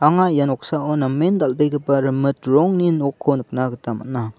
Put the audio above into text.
anga ia noksao namen dal·begipa rimit rongni nokko nikna gita man·a.